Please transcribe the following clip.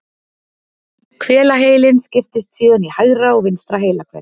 Hvelaheilinn skiptist síðan í hægra og vinstra heilahvel.